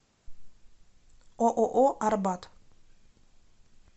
ооо арбат